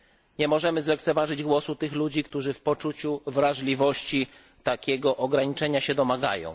Nie możemy zlekceważyć głosu tych ludzi, którzy w poczuciu wrażliwości takiego ograniczenia się domagają.